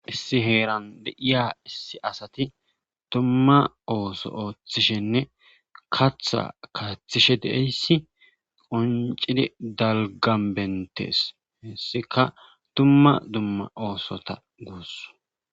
Issi heeran deiya issi asati dumma ooso ooththishenne katha kaathishe deeyssi qoncidi dalganbentees hesseka dumma dumma oosota guus.